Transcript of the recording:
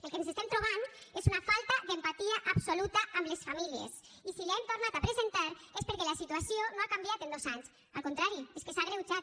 els que ens estem trobant és una falta d’empatia absoluta amb les famílies i si l’hem tornat a presentar és perquè la situació no ha canviat en dos anys al contrari és que s’ha agreujat